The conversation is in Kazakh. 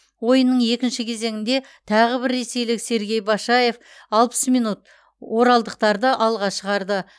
ойынның екінші кезеңінде тағы бір ресейлік сергей башаев алпыс минут оралдықтарды алға шығарды